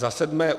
Za sedmé.